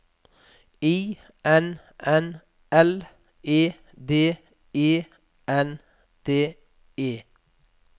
I N N L E D E N D E